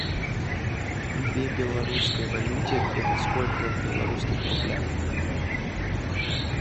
две белорусской валюте это сколько в белорусских рублях